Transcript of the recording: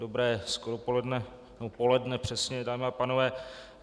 Dobré skoropoledne, nebo poledne přesně, dámy a pánové.